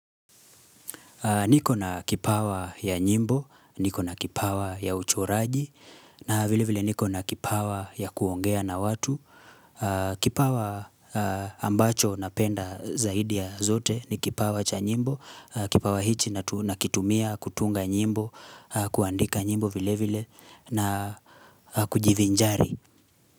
Niko na kipawa ya nyimbo, niko na kipawa ya uchoraji, na vile vile niko na kipawa ya kuongea na watu, kipawa ambacho napenda zaidi ya zote ni kipawa cha nyimbo, kipawa hichi nakitumia kutunga nyimbo, kuandika nyimbo vile vile na kujivinjari.